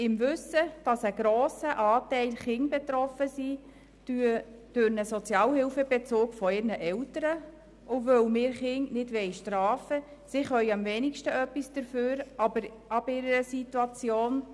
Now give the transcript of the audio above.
Im Wissen darum, dass durch den Sozialhilfebezug ihrer Eltern ein grosser Anteil Kinder betroffen sind, und weil wir Kinder nicht bestrafen wollen – sie können am wenigsten etwas für ihre Situation –, tragen wir die Kürzung in der Höhe von 10 Prozent beim Grundbedarf nicht mit.